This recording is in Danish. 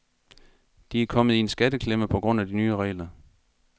De er kommet i en skatteklemme på grund af de nye regler.